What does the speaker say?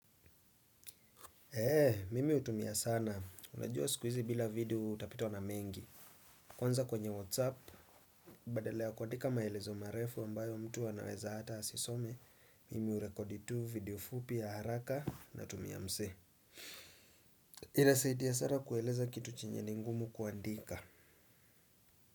Eee, mimi hutumia sana. Unajua siku hizi bila video utapitwa na mengi. Kwanza kwenye whatsapp, badala ya kuandika maelezo marefu ambayo mtu anaweza hata asisome, mimi hurekodi tu video fupi ya haraka natumia msee. Inasaidia sana kueleza kitu chenye ni ngumu kuandika.